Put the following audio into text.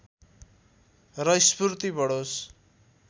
र स्फूर्ति बढोस्